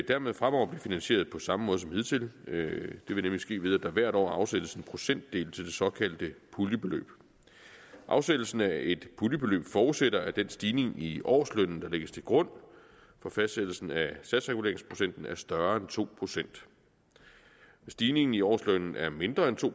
dermed fremover blive finansieret på samme måde som hidtil det vil nemlig ske ved at der hvert år afsættes en procentdel til det såkaldte puljebeløb afsættelsen af et puljebeløb forudsætter at den stigning i årslønnen der lægges til grund for fastsættelsen af satsreguleringsprocenten er større end to procent hvis stigningen i årslønnen er mindre end to